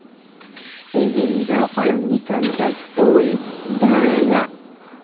देवेंद्र फडणवीसांचा तोल ढळला